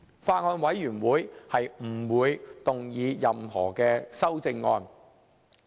法案委員會不會動議任何修正案。